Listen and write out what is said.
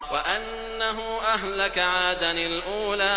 وَأَنَّهُ أَهْلَكَ عَادًا الْأُولَىٰ